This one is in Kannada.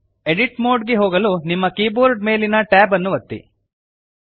ಎಡಿಟ್ ಮೋಡ್ ನಲ್ಲಿ ಹೋಗಲು ನಿಮ್ಮ ಕೀಬೋರ್ಡ್ ಮೇಲಿನ Tab ಅನ್ನು ಒತ್ತಿರಿ